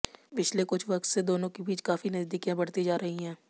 पिछले कुछ वक्त से दोनों के बीच काफी नजदीकियां बढ़ती जा रही है